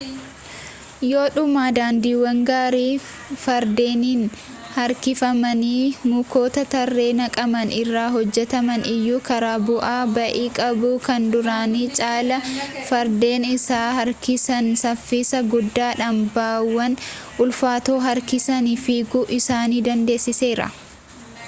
yoodhuma daandiiwwan gaarii fardeeniin harkifamanii mukoota tarree naqaman irraa hojjetaman iyyuu karaa bu'aa ba'ii qabu kan duraanii caalaa fardeen isaan harkisan saffisa guddaadhaan ba'aawwan ulfaatoo harkisanii fiiguu isaan dandeessiseera